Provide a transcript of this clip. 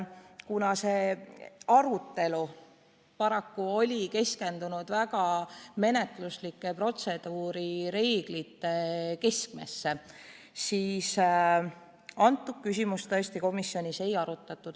Kuna komisjoni arutelu oli paraku keskendunud väga menetluslikele protseduurireeglitele, siis seda küsimust tõesti komisjonis ei arutatud.